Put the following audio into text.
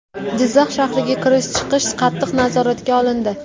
Jizzax shahriga kirish-chiqish qattiq nazoratga olindi.